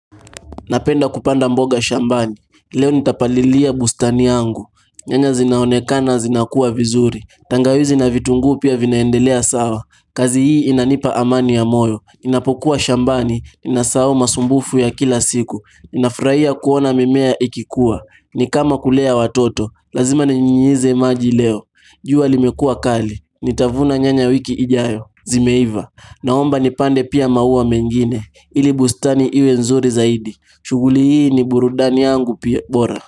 Napenda kupanda mboga shambani leo nitapalilia bustani yangu nyanya zinaonekana zinakua vizuri tangawizi na vitunguu pia vinaendelea sawa kazi hii inanipa amani ya moyo ninapokuwa shambani ninasahau masumbufu ya kila siku ninafurahia kuona mimea ikikua ni kama kulea watoto lazima ninyunyize maji leo jua limekuwa kali nitavuna nyanya wiki ijayo zimeiva naomba nipande pia maua mengine ili bustani iwe nzuri zaidi shughuli hii ni burudani yangu bora.